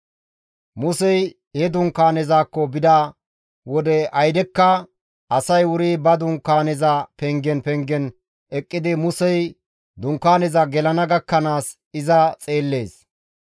Musey he dunkaanezakko bida wode aydekka asay wuri ba dunkaaneza pengen pengen eqqidi Musey dunkaanezan gelana gakkanaas iza xeellees.